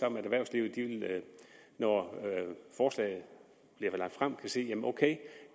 om at erhvervslivet når forslaget bliver lagt frem vil sige ok